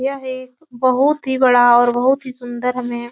यह एक बहुत ही बड़ा और बहुत ही सुन्दर हमें --